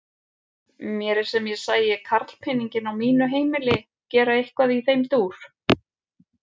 Mér er sem ég sæi karlpeninginn á mínu heimili gera eitthvað í þeim dúr!